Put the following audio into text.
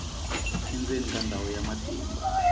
endzeni ka ndhawu ya matimba